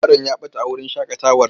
Yaron ya ɓata a wurin shaƙatawar.